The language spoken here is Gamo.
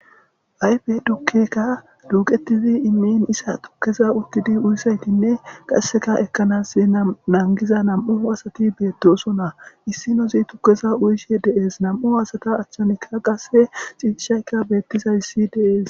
Ayfe tukkekka duuqetizi immin issa tukkeza uttidi uyizaytinne qasseka ekkanassi nangiza nam7u asati beetosona issinozi tukkeza uykkishe de7ees nam7u asata achchanikka qasse ciishaykka beettizayssi de7ees.